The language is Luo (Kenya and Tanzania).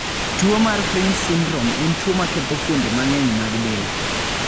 Tuwo mar Fryns syndrome en tuwo maketho fuonde mang'eny mag del.